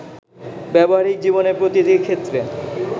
ব্যবহারিক জীবনের প্রতিটি ক্ষেত্রে